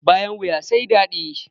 Bayan wuya sai dadi.